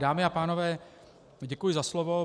Dámy a pánové, děkuji za slovo.